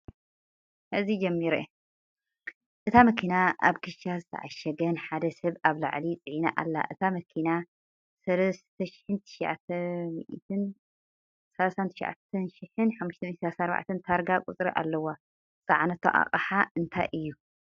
እታ መኪና ኣብ ኪሻ ዝተዓሸገ ን ሓደ ሰብ ኣብ ላዕሊ ፅዒና ኣላ ። እታ መኪና 39534 ታርጋ ቁፅሪ ኣለዋ ። ዝፀዓነቶ እቅሓ እንታይ እዩ ።